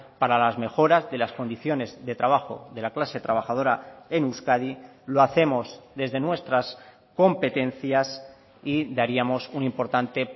para las mejoras de las condiciones de trabajo de la clase trabajadora en euskadi lo hacemos desde nuestras competencias y daríamos un importante